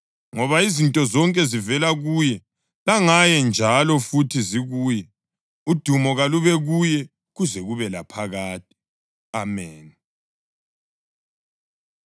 Ngoba izinto zonke zivela kuye langaye njalo futhi zikuye. Udumo kalube kuye kuze kube laphakade! Ameni.